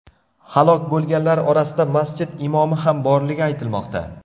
Halok bo‘lganlar orasida masjid imomi ham borligi aytilmoqda.